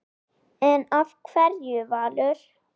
En af hverju Valur?